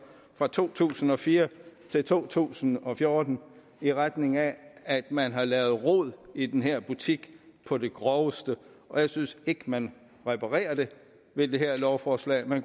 fra to tusind og fire til to tusind og fjorten i retning af at man har lavet rod i den her butik på det groveste og jeg synes ikke man reparerer det med det her lovforslag man